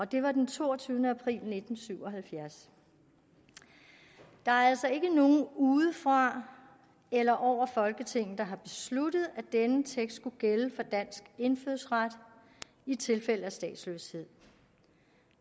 det var den toogtyvende april nitten syv og halvfjerds der er altså ikke nogen udefra eller over folketinget der har besluttet at denne tekst skulle gælde for dansk indfødsret i tilfælde af statsløshed